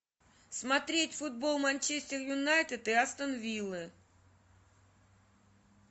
смотреть футбол манчестер юнайтед и астон виллы